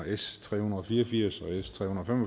s tre hundrede og fire og firs og s tre hundrede